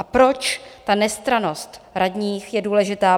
A proč ta nestrannost radních je důležitá?